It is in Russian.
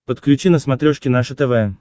подключи на смотрешке наше тв